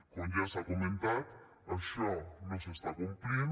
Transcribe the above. com ja s’ha comentat això no s’està complint